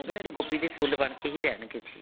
ਗੋਭੀ ਦੇ ਫੁੱਲ ਬਣਕੇ ਹੀ ਰਹਿਣਗੇ ਜੀ